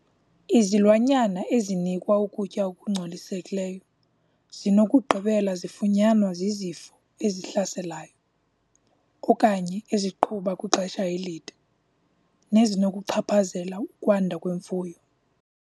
Izilwanyana ezinikwa ukutya okungcolisekileyo zinokugqibela zifunyanwa zizifo ezihlaselayo okanye eziqhuba kwixesha elide nezinokuchaphazela ukwanda kwemfuyo.